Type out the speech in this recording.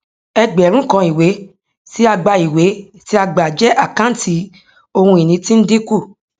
ẹgbẹrún kan ìwé tí a gbàìwé tí a gbà jẹ àkáǹtí ohun ìní tí ń dínkù